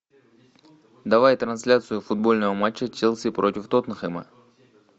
давай трансляцию футбольного матча челси против тоттенхэма